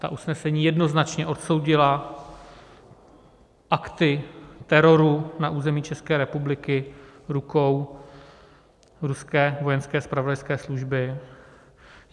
Ta usnesení jednoznačně odsoudila akty teroru na území České republiky rukou ruské vojenské zpravodajské služby.